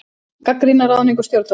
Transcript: Gagnrýna ráðningu stjórnvalda